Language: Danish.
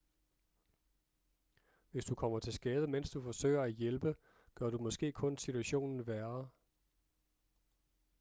hvis du kommer til skade mens du forsøger at hjælpe gør du måske kun situationen værre